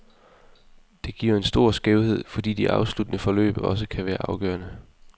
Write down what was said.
Det giver en stor skævhed, fordi de afsluttende forløb også kan være afgørende.